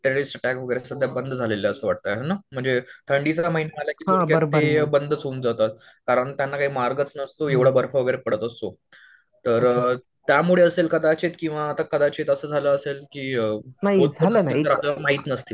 Terrorist attack वगैरे बंद झालेले असं वाटतंय हे नं म्हणजे थंडीचं महिना आला की ते बंदच होऊन जातात. कारण त्यांना काही मार्गच नसतो एवढा बर्फ वगैरे पडत असतो. तर त्यामुळे असेल कदाचित किंवा कदाचित असं झालं असेल की आपल्याला माहित नसतील.